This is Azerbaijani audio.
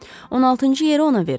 16-cı yeri ona verin.